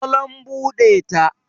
salon bude ta